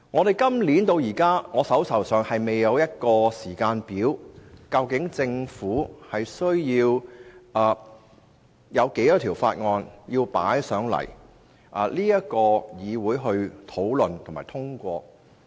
截至現時為止，我手邊仍未有任何時間表詳列政府會有多少項法案須提交立法會討論和通過。